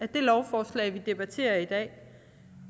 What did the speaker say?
det lovforslag vi debatterer i dag